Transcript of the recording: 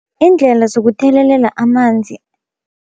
Iindlela zokuthelelela amanzi.